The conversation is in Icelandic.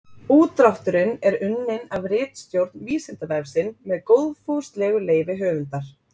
Útdrátturinn er unnin af ritstjórn Vísindavefsins með góðfúslegu leyfi höfundar.